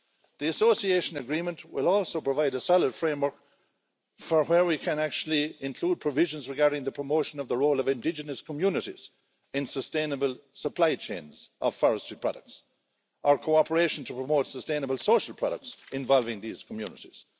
The Association Agreement will also provide a solid framework for where we can actually include provisions regarding the promotion of the role of indigenous communities in sustainable supply chains of forestry products or cooperation to promote sustainable social products involving these communities.